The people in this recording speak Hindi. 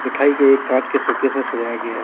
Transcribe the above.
मिठाई को एक कांच के शोकेस में सजाया गया है।